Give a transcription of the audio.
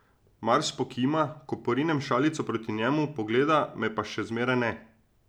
Mars pokima, ko porinem šalico proti njemu, pogleda me pa še zmeraj ne.